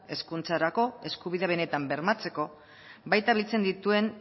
hezkuntzarako eskubidea benetan bermatzeko baita biltzen dituen